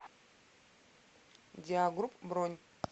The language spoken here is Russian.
диагрупп бронь